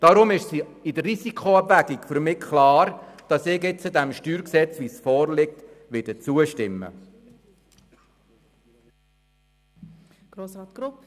Nach dieser Risikoabwägung ist für mich klar, dass ich dem nun vorliegenden StG zustimmen werde.